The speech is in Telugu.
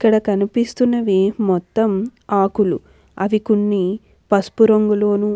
ఇక్కడ కనిపిస్తున్నవే మొత్తం ఆకులు. అవి కొన్ని పసుపు రంగులోను--